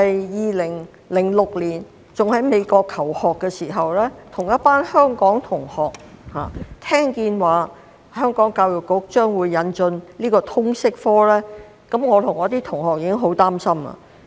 2006年，當我仍在美國求學的時候，聽到當時的教育統籌局要引進通識科，我跟一群香港同學已經感到十分擔心。